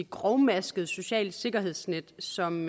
grovmasket socialt sikkerhedsnet som